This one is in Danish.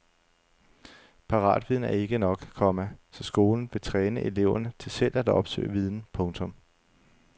Paratviden er ikke nok, komma så skolen vil træne eleverne til selv at opsøge viden. punktum